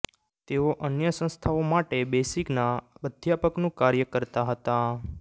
તેઓ અન્ય સંસ્થાઓ માટે બેસિકના અધ્યાપકનું કાર્ય કરતાં હતાં